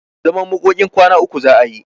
Zaman makokin kwana uku za'a yi.